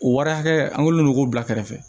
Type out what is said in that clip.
O wari hakɛ an kolen do k'o bila kɛrɛfɛ